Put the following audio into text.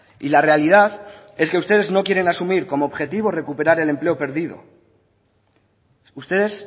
y la realidad es que ustedes no quieren asumir como objetivo recuperar el empleo perdido ustedes